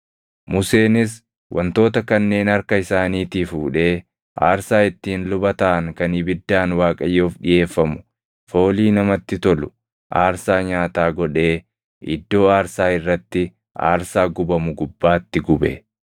Museenis wantoota kanneen harka isaaniitii fuudhee aarsaa ittiin luba taʼan kan ibiddaan Waaqayyoof dhiʼeeffamu, foolii namatti tolu, aarsaa nyaataa godhee iddoo aarsaa irratti aarsaa gubamu gubbaatti gube.